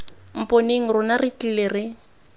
mponeng rona re tlile re